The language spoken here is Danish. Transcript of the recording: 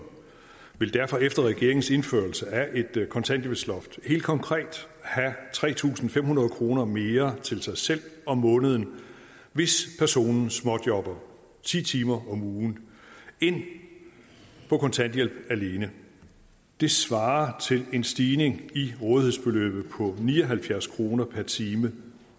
vil derfor efter regeringens indførelse af et kontanthjælpsloft helt konkret have tre tusind fem hundrede kroner mere til sig selv om måneden hvis personen småjobber ti timer om ugen end på kontanthjælp alene det svarer til en stigning i rådighedsbeløbet på ni og halvfjerds kroner per time